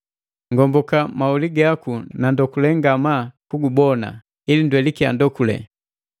Ngomboka maholi gaku na ndogule ngamaa kugubona, ili dwelakiya ndogule.